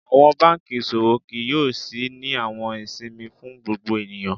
Awọn banki iṣowo kii yoo ṣii ni awọn isinmi fún gbogbo eniyan.